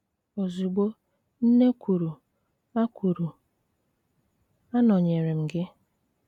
Ozugbo, nne kwuru, a kwuru, a nọnyeere m gị.